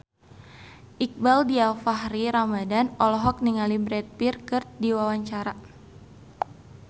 Iqbaal Dhiafakhri Ramadhan olohok ningali Brad Pitt keur diwawancara